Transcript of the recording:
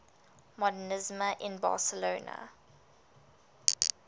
modernisme in barcelona